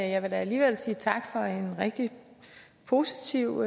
jeg vil da alligevel sige tak for en rigtig positiv